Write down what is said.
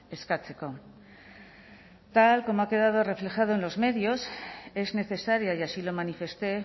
eskatzeko tal como ha quedado reflejado en los medios es necesaria y así lo manifesté